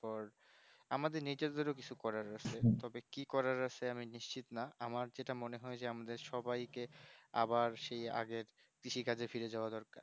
পর আমাদের নিজেদেরও কিছু করার আছে তবে কি করার আছে আমি নিশ্চিত না আমার যেটা মনে হয় যে আমাদের সবাই কে আবার সেই আগের কৃষি কাজে ফায়ার যাওয়া দরকার